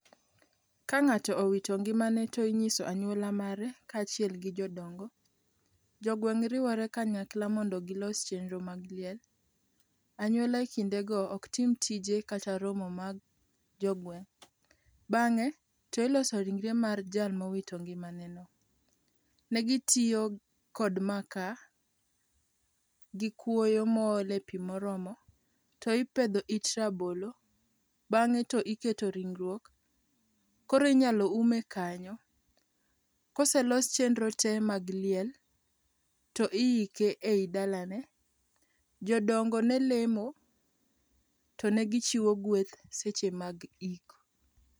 Ka ng'ato owito ngimane to ing'iso anyuola mare kaachiel gi jodongo. Jogweng' riwore kanyakla mondo gilos chenro mag liel. Anyuola kindego ok tim tije kata romo mag jogweng'. Bang'e to iloso ringre mar jal mowito ngimaneno. Ne gitiyo kod maka gi kuoyo moole pi moromo to ipedho it rabolo, bang'e to iketo ringruok, koro inyalo ume kanyo. Koselos chenro tee mag liel to iike e i dalane. Jodongo ne lemo to ne gichiwo gweth seche mag ik.